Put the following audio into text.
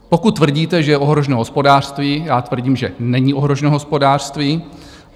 Pokud tvrdíte, že je ohroženo hospodářství, já tvrdím, že není ohroženo hospodářství.